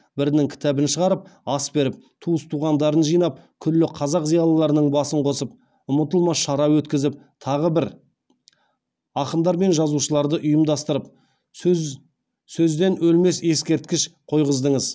бірінің кітабын шығарып ас беріп туыс туғандарын жинап күллі қазақ зиялыларының басын қосып ұмытылмас шара өткізіп тағы бір ақындар мен жазушыларды ұйымдастырып сөзден өлмес ескерткіш қойғыздыңыз